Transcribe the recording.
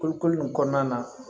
Kulukoro nin kɔnɔna na